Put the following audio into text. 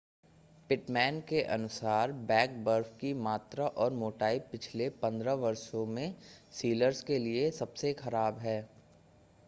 Pitman के अनुसार pack बर्फ की मात्रा और मोटाई पिछले 15 वर्षों में सीलर्स के लिए सबसे ख़राब है